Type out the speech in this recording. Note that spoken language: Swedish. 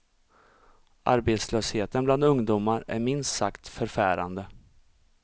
Arbetslösheten bland ungdomar är minst sagt förfärande.